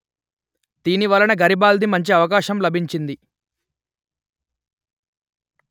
దీని వలన గరిబాల్ది మంచి అవకాశం లభించింది